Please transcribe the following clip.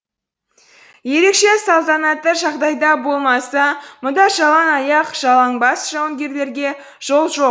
ерекше салтанатты жағдайда болмаса мұнда жалаң аяқ жалаң бас жауынгерлерге жол жоқ